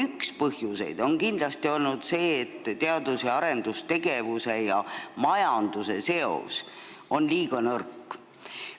Üks põhjuseid on kindlasti olnud see, et teadus- ja arendustegevuse ning majanduse seos on liiga nõrk.